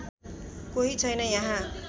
कोही छैन यहाँ